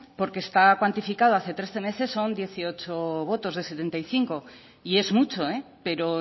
porque está cuantificada hace trece meses son dieciocho votos de setenta y cinco y es mucho pero